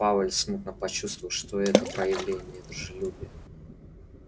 пауэлл смутно почувствовал что это проявление дружелюбия